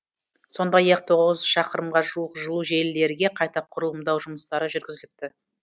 сондай ақ тоғыз шақырымға жуық жылу желілерге қайта құрылымдау жұмыстары жүргізіліпті